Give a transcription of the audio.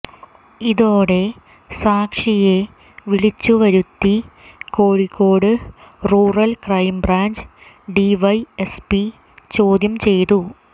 ഇതോടെ സാക്ഷിയെ വിളിച്ചുവരുത്തി കോഴിക്കോട് റൂറൽ ക്രൈബ്രാഞ്ച് ഡിവൈഎസ്പി ചോദ്യം ചെയ്തു